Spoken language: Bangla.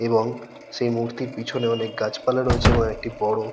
এবং সেই মূর্তির পিছনে অনেক গাছপালা রয়েছে এবং একটি বড়--